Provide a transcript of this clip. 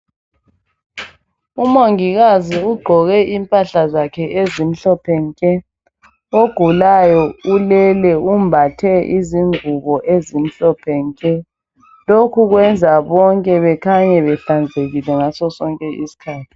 Umongikazi ugqoke impahla zakhe ezimhlophe nke. Ogulayo ulele umbathe izingubo ezimhlophe nke. Lokhu benza bonke bekhanye behlanzekile ngasosonke iskhathi.